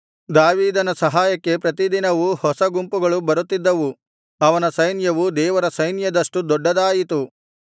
ದಾವೀದನ ಸಹಾಯಕ್ಕೆ ಪ್ರತಿದಿನವೂ ಹೊಸ ಗುಂಪುಗಳು ಬರುತ್ತಿದ್ದವು ಅವನ ಸೈನ್ಯವು ದೇವರ ಸೈನ್ಯದಷ್ಟು ದೊಡ್ಡದಾಯಿತು